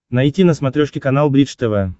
найти на смотрешке канал бридж тв